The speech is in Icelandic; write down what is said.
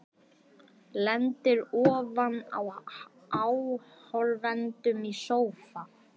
Lendir ofan á áhorfendum í sófa.